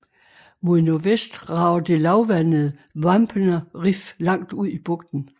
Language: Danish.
Mod nordvest rager det lavvandede Wampener Riff langt ud i bugten